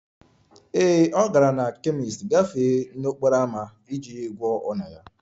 Ee, ọ gara na kemist gafee n'okporo ámá iji gwọọ ọnyá ya